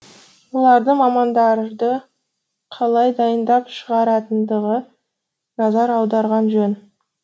олардың мамандарды қалай дайындап шығаратындығы назар аударған жөн